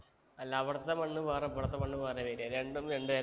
അല്ല അവിടത്തെ മണ്ണ് വേറെ ഇവിടത്തെ മണ്ണ് വേറെയാ വരാ രണ്ടും രണ്ട് തരാ